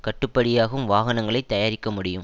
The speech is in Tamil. கட்டுப்படியாகும் வாகனங்களை தயாரிக்க முடியும்